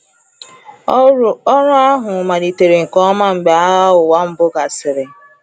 Ọrụ ahụ malitere nke ọma mgbe Agha Ụwa Mbụ gasịrị.